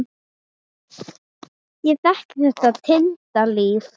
Ég þekki þetta týnda líf.